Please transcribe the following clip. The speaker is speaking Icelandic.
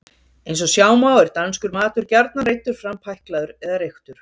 eins og sjá má er danskur matur gjarnan reiddur fram pæklaður eða reyktur